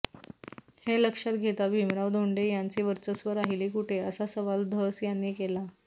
हे लक्षात घेता भिमराव धोंडे यांचे वर्चस्व राहिले कुठे असा सवाल धस यांनी केला